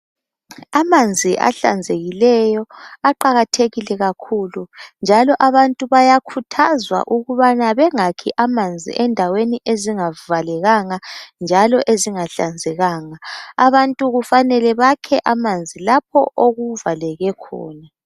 amanzi ahlanzekileyo aqakathekile kakhulu njalo abantu bayakhuthazwa ukubana bengakhi amanzi endaweni ezingavalekanga njalo ezingahlanzekanga abantu kufanele bakhe amanzi lapho okuvaleke khona